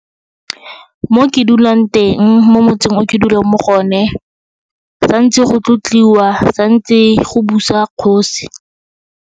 Mo ke dulang teng mo motseng o ke dulang mo go one, santse go tlotliwa, santse go busa kgosi.